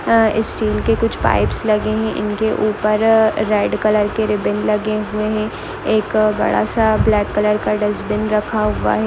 अ steel के कुछ pipes लगे है इनके ऊपर रेड कलर के रिबिन लगे हुए है एक बड़ा -सा ब्लैक कलर का डेसबिन रखा हुआ हैं।